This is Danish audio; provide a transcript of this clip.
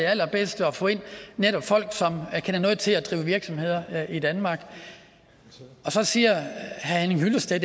allerbedste at få ind nemlig folk som kender noget til at drive virksomhed i danmark så siger herre henning hyllested